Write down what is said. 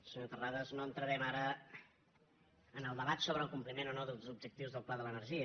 senyor terrades no entrarem ara en el debat sobre el compliment o no dels objectius del pla de l’energia